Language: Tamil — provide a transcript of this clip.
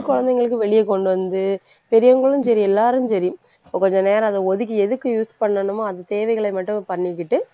குழந்தைங்களுக்கு வெளிய கொண்டு வந்து பெரியவங்களும் சரி எல்லாரும் சரி கொஞ்ச நேரம் அதை ஒதுக்கி எதுக்கு use பண்ணணுமோ அது தேவைகளை மட்டும் பண்ணிக்கிட்டு